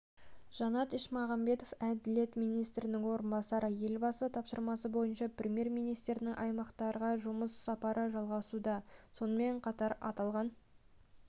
жанат ешмағамбетов әділет министрінің орынбасары елбасы тапсырмасы бойынша премьер-министрінің аймақтарға жұмыс сапары жалғасуда сонымен қатар аталған